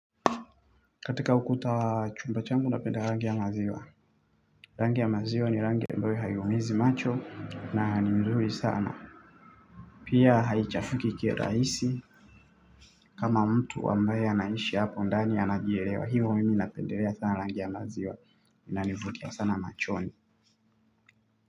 Katika ukuta wa chumba changu napenda rangi ya maziwa. Rangi ya maziwa ni rangi ambayo haiumizi macho na ni mzuri sana. Pia haichafuki kirahisi. Kama mtu ambaye anaishi hapo ndani anajielewa. Hiyo mimi napendelea sana rangi ya maziwa. Inanivutia sana machoni.